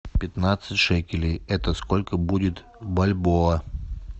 пятнадцать шекелей это сколько будет бальбоа